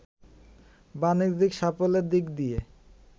বাণিজ্যিক সাফল্যের দিক দিয়ে